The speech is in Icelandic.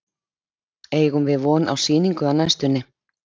Eigum við von á sýningu á næstunni?